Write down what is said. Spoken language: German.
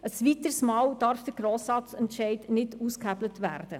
ein weiteres Mal darf der Grossratsentscheid nicht ausgehebelt werden!